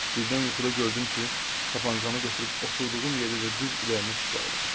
Birdən yuxuda gördüm ki, tapançanı götürüb oturduğum yerdəcə düz ürəyimə tuşlayıram.